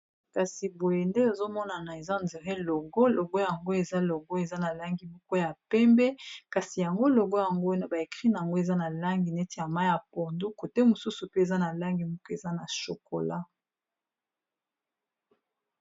Kasi boye nde nazomona eza logo eza na langi ya pembe, kasi logo yango na ba écrit nango eza na langi neti ya mayi ya pondu côté mosusu pe eza na langi ya chocolat.